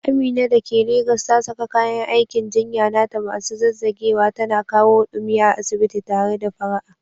Amina da ke Legas ta saka kayan aikin jinya nata masu zazzagewa, tana kawo ɗumi a asibiti tare da fara'a.